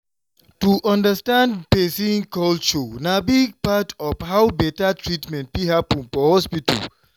to understand person culture na big part of how better treatment fit happen for hospital.